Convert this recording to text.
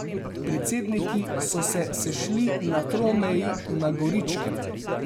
Predsedniki so se sešli na tromeji na Goričkem.